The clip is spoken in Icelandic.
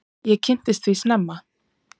Ég kynntist því snemma.